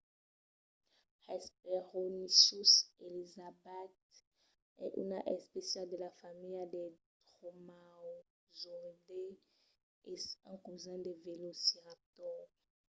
hesperonychus elizabethae es una espécia de la familha dels dromaeosauridae e es un cosin del velociraptor